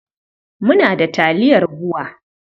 Muna da taliyar BUA.